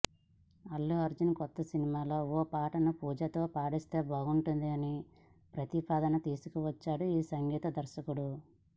అల్లుఅర్జున్ కొత్త సినిమాలో ఓ పాటను పూజాతో పాడిస్తే బాగుంటుందనే ప్రతిపాదన తీసుకొచ్చాడు ఈ సంగీత దర్శకుడు